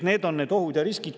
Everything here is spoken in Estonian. Sellised ohud ja riskid on.